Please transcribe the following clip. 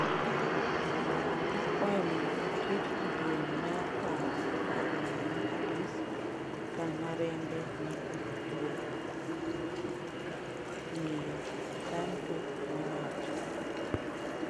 """Akwayo mondo oket kidieny mar paro e boma ma Addis kama rembe ne ochwe,"" Miyo Santu nowacho.